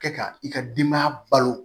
Kɛ ka i ka denbaya balo